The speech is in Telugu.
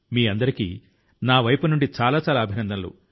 మీ అందరికి నా వైపు నుండి చాలా చాలా అభినందనలు